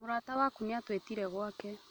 Mũrata waku nĩ atwĩtire gwake